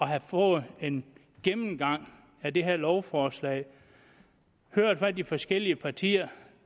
have fået en gennemgang af det her lovforslag og hørt hvad de forskellige partier